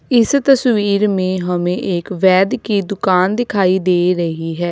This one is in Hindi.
इस तस्वीर में हमें एक वैद्य की दुकान दिखाई दे रही है।